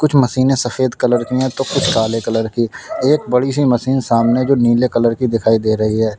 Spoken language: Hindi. मशीन सफेद कलर की है तो कुछ काले कलर की एक बड़ी सी मशीन सामने जो नीले कलर की दिखाई दे रही है।